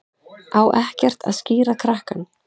Á ekkert að skíra krakkann?